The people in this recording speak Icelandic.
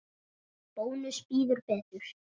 Bónus býður betur.